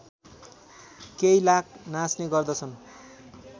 केइलाक नाच्ने गर्दछन्